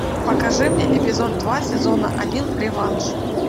покажи мне эпизод два сезона один реванш